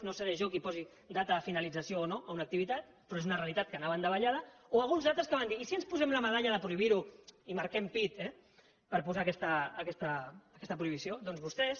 no seré jo qui posi data de finalització o no a una activitat però és una realitat que anava en davallada o alguns altres que van dir i si ens posem la medalla de prohibir ho i marquem pit eh per posar aquesta prohibició doncs vostès